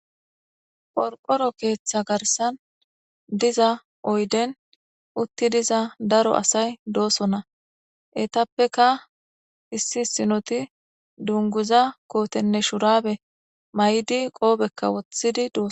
Qorqoro keetha garssan diza oyden uttidi diza daro asay doosona.etappeka issi issinoti dunguza kootenne shuraabe mayidi qoopekka wothidi doosona.